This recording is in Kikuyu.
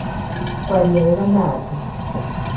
Kwaria wega na andũ.